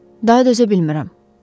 “Daha dözə bilmirəm.”